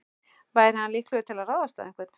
Væri hann líklegur til að ráðast á einhvern?